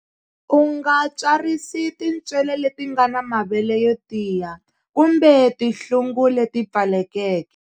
U nga tswarisi tintswele leti nga na mavele yo tiya, kumbe tinhlungu leti pfalekeke.